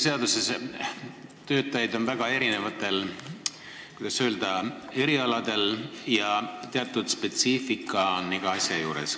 Töötajatel on väga erinevad, kuidas öelda, erialad ja igal asjal on teatud spetsiifika.